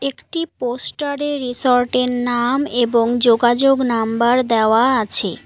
একটি পোস্টার -এ রিসোর্ট -এর নাম এবং যোগাযোগ নাম্বার দেওয়া আছে।